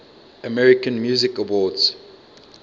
american music awards